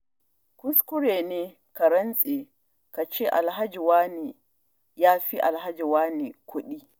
Kuskure ne ka rantse, kace Alhaji wane ya fi Alhaji wane kuɗi.